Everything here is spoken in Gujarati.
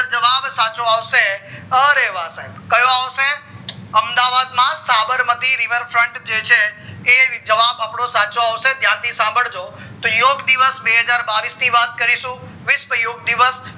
જવાબ સાચો આવશે અરે વા સાહેબ કયો આવશે અમદાવાદ માં જે સાબરમતી river front જે છે એ જવાબ આપડો સાચો આવશે ધ્યાનથી સંભાળજો તો યોગ દિવસ બેહજાર ને બાવીશ ની વાત કરીશું વિશ્વા યોગ દિવસ